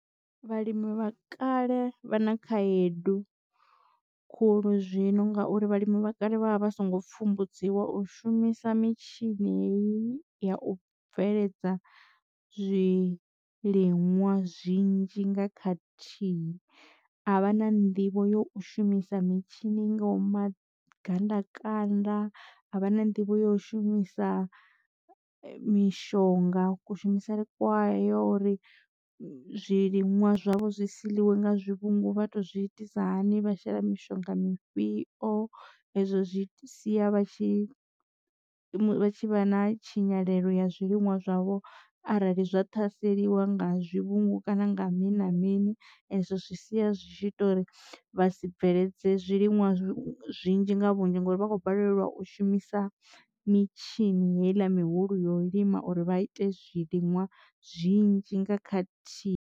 Vhalimi vha kale vha na khaedu khulu zwino ngauri vhalimi vha kale vha vha vha songo pfumbudziwa u shumisa mitshini heyi ya u bveledza zwiliṅwa zwinzhi nga khathihi. A vha na nḓivho yo u shumisa mitshini nga i ngaho magandakanda a vha na nḓivho yo shumisa mishonga ku shumisele kwayo uri zwiliṅwa zwavho zwi si ḽiwe nga zwivhungu vha to zwi itisa hani vha shela mushonga mufhio. Ezwo zwi sia vha tshi vha tshi vha na tshinyalelo ya zwiliṅwa zwavho arali zwa ṱhaseliwa nga zwivhungu kana nga mini na mini ezwo zwi sia zwi tshi ita uri vha si bveledze zwiliṅwa zwinzhi nga vhunzhi ngori vha khou balelwa u shumisa mitshini heiḽa mihulu yo lima uri vha ite zwiliṅwa zwinzhi nga khathihi.